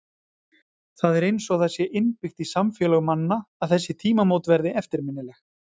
Það er eins og það sé innbyggt í samfélög manna að þessi tímamót verði eftirminnileg.